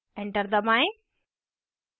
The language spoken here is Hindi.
enter दबाएँ